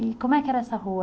E como é que era essa rua?